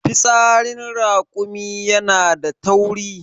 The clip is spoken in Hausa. fitsarin rakumi yana da tauri